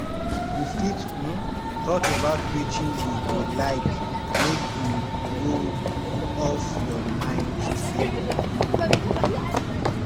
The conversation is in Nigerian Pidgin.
you fit um talk about wetin you go like make im go off your mind today